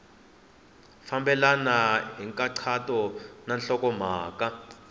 fambelena hi nkhaqato na nhlokomhaka